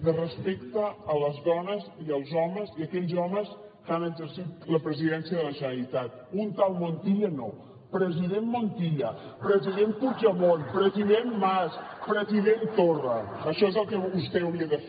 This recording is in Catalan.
de respecte a les dones i els homes i aquells homes que han exercit la presidència de la generalitat un tal montilla no president montilla president puigdemont president mas president torra això és el que vostè hauria de fer